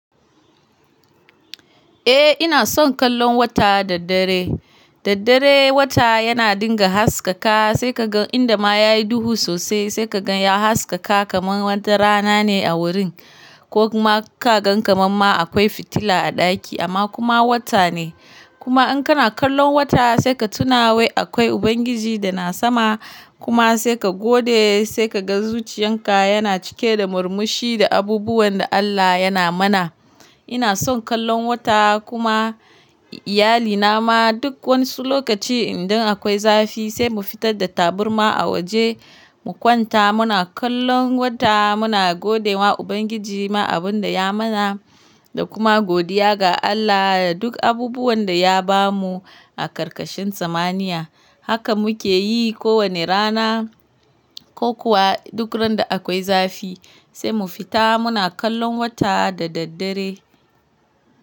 Eh ina son kallon wata da daddare. Daddare wata yana dinga haskaka sai ka gan inda ma ya yi duhu sosai sai ka gan ya haskaka kaman wata rana ne a wurin ko kuma ka gan kamar ma akwai fitila a ɗaki amma kuma wata ne. Kuma in kana kallon wata sai ka tuna wai akwai Ubangiji da na sama kuma sai ka gode sai ka ga zuciyan ka yana cike da murmushi da abubuwan da Allah yana mana. Ina son kallon wata kuma iyalina ma duk wani lokaci idan akwai zafi sai mu fitar da taburma a waje mu kwanta muna kallon wata muna godewa Ubangiji ma abun da ya mana da kuma godiya ga Allah da duk abubuwan da ya bamu a karkashin zamaniya. Haka muke yi kowane rana ko kuwa duk randa akwai zafi sai mu fita muna kallon wata da daddare.